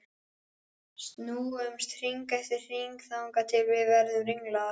Snúumst hring eftir hring þangað til við verðum ringlaðar.